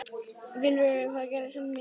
Vilfríður, hvað geturðu sagt mér um veðrið?